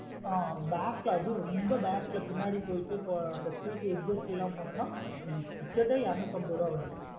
ஆஹ் back ல அதும் ரொம்ப back லா பின்னாடி போயிட்டு இப்ப seat exist லாம் போனோம்னா ticket ஏ இரண்னுதம்பது ரூபா வருது.